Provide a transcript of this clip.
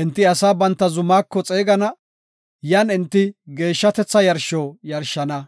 Enti asaa banta zumako xeegana; yan enti geeshshatetha yarsho yarshana.